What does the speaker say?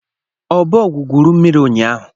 Ọbọọgwụ gwuru mmiri ụnyahụ